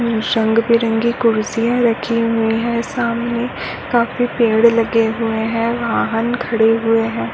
रंग बिरंगी कुर्सियाँ रखी हुई है सामने काफी पेड़ लगे हए है वाहन खड़े हुए हैं।